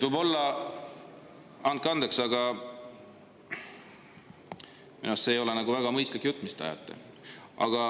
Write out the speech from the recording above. Andke andeks, aga minu arust ei ole see väga mõistlik jutt, mis te ajate.